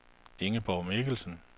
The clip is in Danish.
Ingeborg Mikkelsen